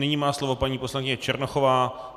Nyní má slovo paní poslankyně Černochová.